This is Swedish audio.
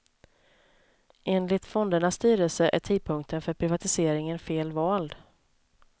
Enligt fondernas styrelse är tidpunkten för privatiseringen fel vald.